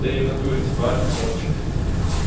ты в натуре типа альфа топчик